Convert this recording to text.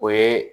O ye